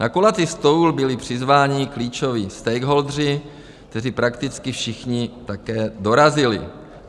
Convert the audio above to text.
Na kulatý stůl byli přizváni klíčoví stakeholdeři, kteří prakticky všichni také dorazili.